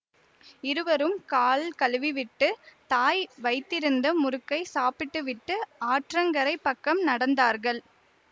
இருவரும் கால் கழுவிவிட்டு தாய் வைத்திருந்த முறுக்கைச் சாப்பிட்டுவிட்டு ஆற்றங்கரைப் பக்கம் நடந்தார்கள்